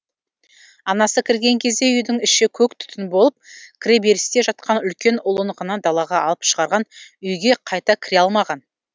анасы кірген кезде үйдің іші көк түтін болып кіреберісте жатқан үлкен ұлын ғана далаға алып шығарған үйге қайта кіре алмаған